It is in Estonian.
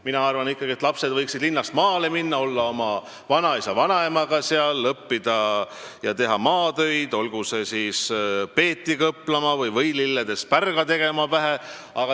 Mina arvan, et lapsed võiksid ikkagi linnast maale minna, olla seal oma vanaisa ja vanaemaga, õppida ja teha maatöid, olgu see peedi kõplamine või võililledest pärja pähe tegemine.